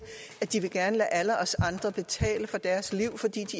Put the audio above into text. at de gerne vil lade alle os andre betale for deres liv fordi